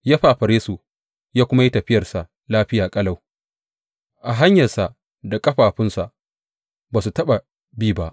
Ya fafare su ya kuma yi tafiyarsa lafiya ƙalau, a hanyar da ƙafafunsa ba su taɓa bi ba.